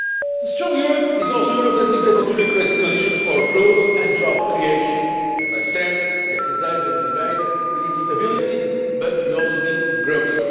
A strong Europe is also a Europe that is able to recreate the conditions for growth and job creation as I said yesterday during the debate, we need stability but we also need growth.